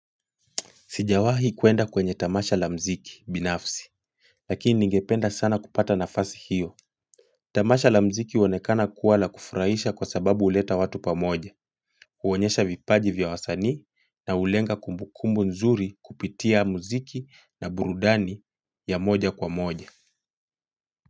Sijawahi kuenda kwenye tamasha la mziki binafsi, lakini ningependa sana kupata nafasi hiyo. Tamasha la mziki huonekana kuwa la kufurahisha kwa sababu huleta watu pamoja, huonyesha vipaji vya wasanii na hulenga kumbukumbu nzuri kupitia mziki na burudani ya moja kwa moja.